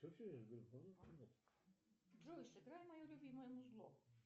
джой сыграй мое любимое музло